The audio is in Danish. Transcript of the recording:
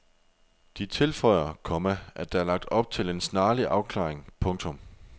De tilføjer, komma at der er lagt op til en snarlig afklaring. punktum